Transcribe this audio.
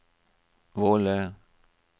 Våle